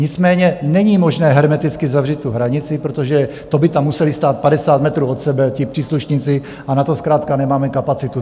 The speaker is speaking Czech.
Nicméně není možné hermeticky zavřít tu hranici, protože to by tam museli stát 50 metrů od sebe ti příslušníci, a na to zkrátka nemáme kapacitu.